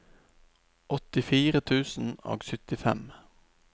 åttifire tusen og syttifem